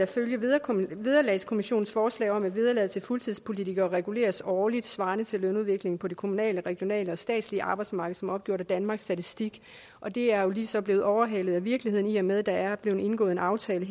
følger vederlagskommissionens forslag om at vederlaget til fuldtidspolitikere reguleres årligt svarende til lønudviklingen for det kommunale regionale og statslige arbejdsmarked som opgjort af danmarks statistik og det er jo så lige blevet overhalet af virkeligheden i og med at der morges er blevet indgået en aftale